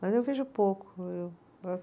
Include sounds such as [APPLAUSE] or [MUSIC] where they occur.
Mas eu vejo pouco, eu [UNINTELLIGIBLE]